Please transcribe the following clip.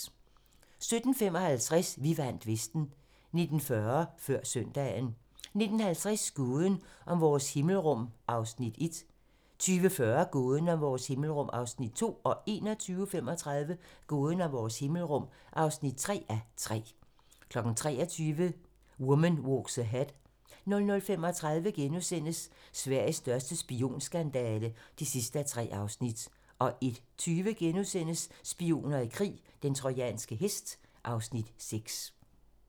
17:15: Vi vandt Vesten 19:40: Før søndagen 19:50: Gåden om vores himmelrum (1:3) 20:40: Gåden om vores himmelrum (2:3) 21:35: Gåden om vores himmelrum (3:3) 23:00: Woman Walks Ahead 00:35: Sveriges største spionskandale (3:3)* 01:20: Spioner i krig: Den trojanske hest (Afs. 6)*